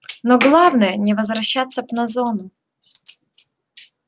но главное не возвращаться б на зону